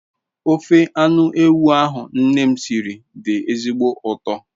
Ofe anu ewu ahu nne m siri di ezigbo uto